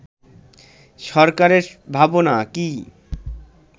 সরকারের ভাবনা কি